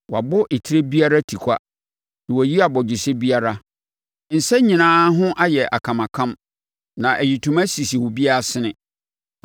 Wɔabɔ etire biara tikwa na wɔayi abɔgyesɛ biara; nsa nyinaa ho ayɛ akamakam na ayitoma sisi obiara asene.